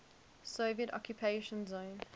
soviet occupation zone